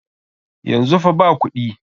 Yanzu fa ba kuɗi.